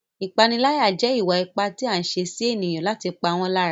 Ìpániláyà jẹ́ ìwà ipá tí a ń ṣe sí ènìyàn láti pa wọ́n lára.